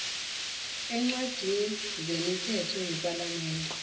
eencwadini zemithetho yepalamende